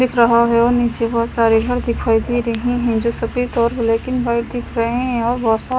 दिख रहा है और निचे बहुत सारे घर दिखाई दे रहे है जो सफ़ेद और ब्लैक एंड वाइट दिख रहे है और बहुत सारे --